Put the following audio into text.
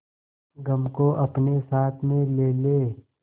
गम को अपने साथ में ले ले